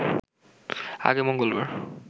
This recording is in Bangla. আগে মঙ্গলবার